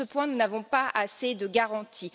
Sur ce point, nous n'avons pas assez de garanties.